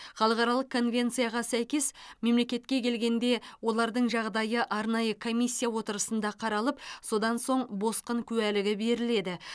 халықаралық конвенцияға сәйкес мемлекетке келгенде олардың жағдайы арнайы комиссия отырысында қаралып содан соң босқын куәлігі беріледі